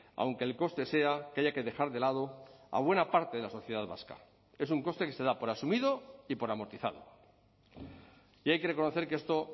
aunque el coste sea que haya que dejar de lado a buena parte de la sociedad vasca es un coste que se da por asumido y por amortizado y hay que reconocer que esto